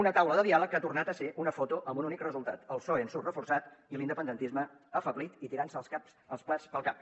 una taula de diàleg que ha tornat a ser una foto amb un únic resultat el psoe en surt reforçat i l’independentisme afeblit i tirant se els plats pel cap